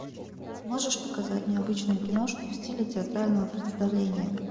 можешь показать необычную киношку в стиле театрального представления